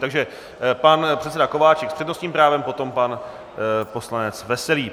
Takže pan předseda Kováčik s přednostním právem, potom pan poslanec Veselý.